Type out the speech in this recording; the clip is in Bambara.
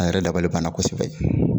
A yɛrɛ dabali banna kɔsɛbɛ